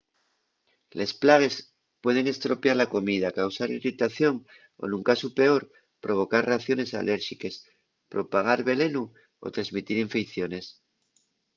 les plagues pueden estropiar la comida causar irritación o ,nun casu peor provocar reacciones alérxiques propagar velenu o tresmitir infeiciones